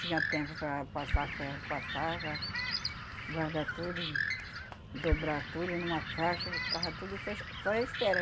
Tinha tempo para passar ferro, passava. Guardar tudo e dobrar tudo numa caixa e tava tudo só ench só é a espera.